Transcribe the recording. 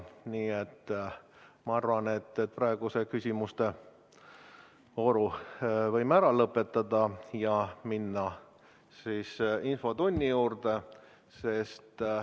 Nii et ma arvan, et praeguse küsimustevooru võime ära lõpetada ja minna infotunni juurde.